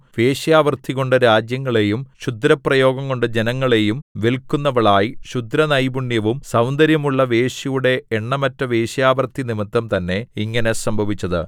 വേശ്യാവൃത്തികൊണ്ട് രാജ്യങ്ങളെയും ക്ഷുദ്രപ്രയോഗംകൊണ്ട് ജനങ്ങളെയും വില്‍ക്കുന്നവളായി ക്ഷുദ്രനൈപുണ്യവും സൗന്ദര്യവുമുള്ള വേശ്യയുടെ എണ്ണമറ്റ വേശ്യാവൃത്തി നിമിത്തംതന്നെ ഇങ്ങനെ സംഭവിച്ചത്